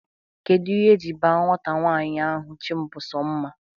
Kedụ ihe e ji baa nwata nwanyị ahụ 'Chimbusomma'?